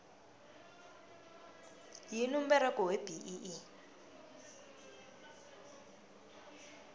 yini umberego webee